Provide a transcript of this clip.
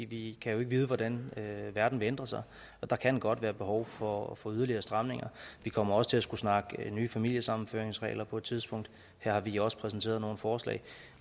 vi kan jo ikke vide hvordan verden vil ændre sig der kan godt være behov for at få yderligere stramninger vi kommer også til at skulle snakke nye familiesammenføringsregler på et tidspunkt her har vi også præsenteret nogle forslag